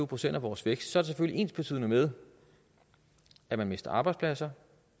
procent af vores vækst er det selvfølgelig ensbetydende med at man mister arbejdspladser